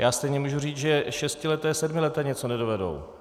Já stejně můžu říct, že šestileté, sedmileté něco nedovedou.